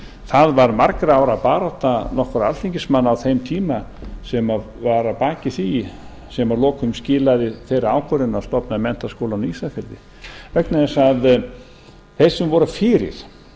það var margra ára barátta nokkurra alþingismanna á þeim tíma sem var að baki því sem að lokum skilaði þeirri ákvörðun að stofna menntaskólann á ísafirði vegna þess að þeir sem voru fyrir